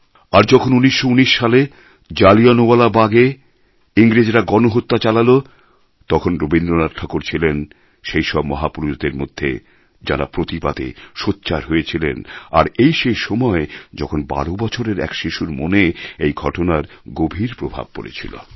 আর যখন ১৯১৯ সালে জালিয়ানওয়ালা বাগে ইংরেজরা গণহত্যা চালাল তখন রবীন্দ্রনাথ ঠাকুর ছিলেন সেই সব মহাপুরুষদের মধ্যে যাঁরা প্রতিবাদে সোচ্চার হয়েছিলেন আর এই সেই সময় যখন বারো বছরের এক শিশুর মনে এই ঘটনার গভীর প্রভাব পড়েছিল